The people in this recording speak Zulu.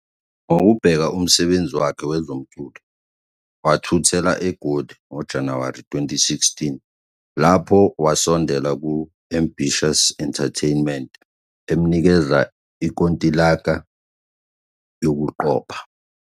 Ngokubheka umsebenzi wakhe wezomculo, wathuthela eGoli ngoJanuwari 2016 lapho wasondela ku-Ambitiouz Entertainment emnikeza inkontileka yokuqopha.